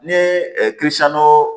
Ni ye